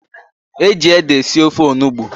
E ji ede esi ofe onugbu.